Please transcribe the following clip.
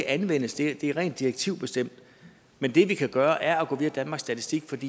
anvendes det er rent direktivbestemt men det vi kan gøre er at gå via danmarks statistik